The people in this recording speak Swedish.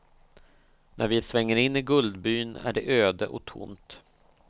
När vi svänger in i guldbyn är det öde och tomt.